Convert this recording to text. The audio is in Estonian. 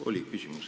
Oli küll küsimus.